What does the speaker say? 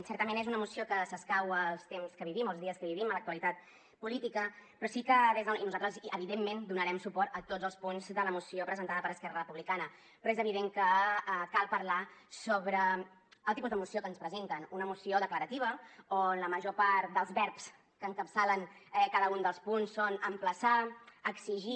certament és una moció que s’escau als temps que vivim o als dies que vivim en l’actualitat política i nosaltres evidentment donarem suport a tots els punts de la moció presentada per esquerra republicana però és evident que cal parlar sobre el tipus de moció que ens presenten una moció declarativa on la major part dels verbs que encapçalen cada un dels punts són emplaçar exigir